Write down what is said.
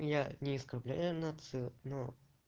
я не оскорбляю нацию но